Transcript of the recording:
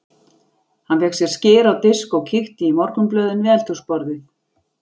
Hann fékk sér skyr á disk og kíkti í morgunblöðin við eldhúsborðið.